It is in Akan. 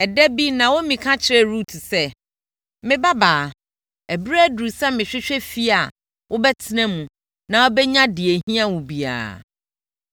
Ɛda bi Naomi ka kyerɛɛ Rut sɛ, “Me babaa, ɛberɛ aduru sɛ mehwehwɛ fie a wobɛtena mu na wobɛnya deɛ ɛhia wo biara.